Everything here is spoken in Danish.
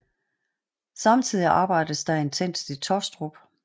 Samtidig arbejdes der intenst i Tåstrup